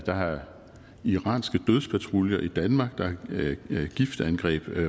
der er iranske dødspatruljer i danmark der er giftangreb